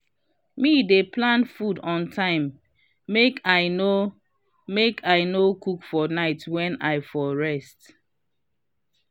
me dey plan food on time make i no make i no cook for night wen i for rest.